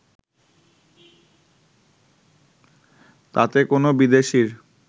তাতে কোনো বিদেশির